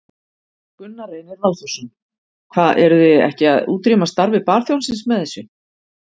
Gunnar Reynir Valþórsson: Hvað, eruð þið ekki að útrýma starfi barþjónsins með þessu?